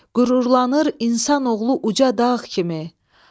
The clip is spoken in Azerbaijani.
Qürurlanır insanoğlu uca dağ kimi.